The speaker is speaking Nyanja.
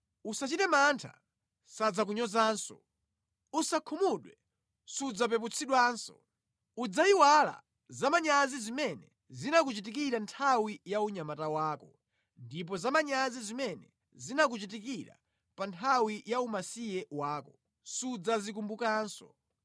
“Usachite mantha; sadzakunyozanso. Usakhumudwe; sudzapeputsidwanso. Udzayiwala za manyazi zimene zinakuchitikira nthawi ya unyamata wako ndipo za manyazi zimene zinakuchitikira pa nthawi ya umasiye wako sudzazikumbukanso.